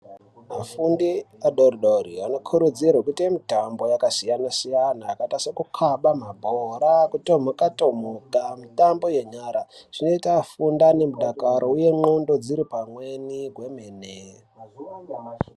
Vafundi vadori dori vanokurudzirwa kuite mitambo yakasiyana siyana yakaita sekukava mabhora, kutomuka tomuka mitambo yenyaraZvinoite vafunde vanemudakaro uye ngxondo dziripamweni kwemene.